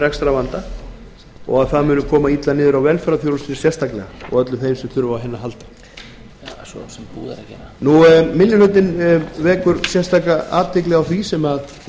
rekstrarvanda en það kæmi mjög illa niður á velferðarþjónustunni og öllum þeim sem þurfa á henni að halda minni hlutinn vekur sérstaka athygli á því sem